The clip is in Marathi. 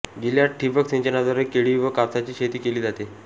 जिल्ह्यात ठिबक सिंचनाद्वारे केळी व कापसाची शेती केली जाते